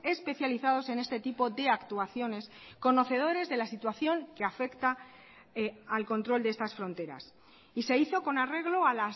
especializados en este tipo de actuaciones conocedores de la situación que afecta al control de estas fronteras y se hizo con arreglo a